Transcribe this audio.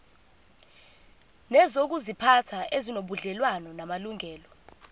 nezokuziphatha ezinobudlelwano namalungelo